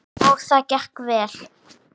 Og það gekk vel.